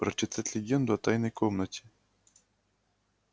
прочитать легенду о тайной комнате